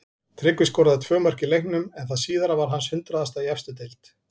Tryggvi skoraði tvö mörk í leiknum en það síðara var hans hundraðasta í efstu deild.